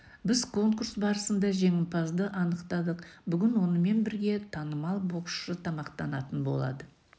біз конкурс барысында жеңімпазды анықтадық бүгін онымен бірге танымал боксшы тамақтанатын болады